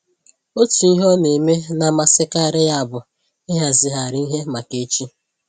Otu ihe ọ na-eme na-amasịkarị ya bụ ịhazigharị ihe maka echi